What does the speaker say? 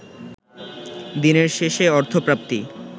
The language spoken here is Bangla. দিনের শেষে অর্থপ্রাপ্তি